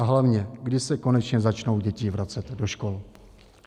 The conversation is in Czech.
A hlavně: Kdy se konečně začnou děti vracet do škol?